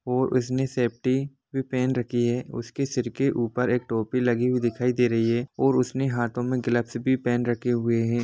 और उसने सेफ्टी भी पेहेन रखी है और उसके सिर के ऊपर के टोपी लगी हुई दिखाई दे रही हैं और उसने हाथो मे गलब्स भी पहन रखी है